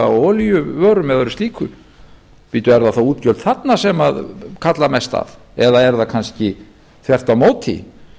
olíuvörum eða öðru slíku bíddu eru það þá útgjöld þarna sem kalla mest að eða er það kannski þvert á